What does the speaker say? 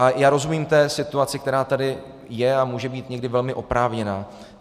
A já rozumím té situaci, která tady je a může být někdy velmi oprávněná.